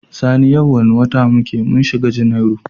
Sani yau wane wata muke mun shiga januwari?